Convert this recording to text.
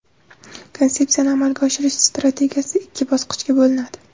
Konsepsiyani amalga oshirish strategiyasi ikki bosqichga bo‘linadi.